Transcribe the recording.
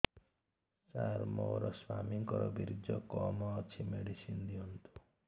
ସାର ମୋର ସ୍ୱାମୀଙ୍କର ବୀର୍ଯ୍ୟ କମ ଅଛି ମେଡିସିନ ଦିଅନ୍ତୁ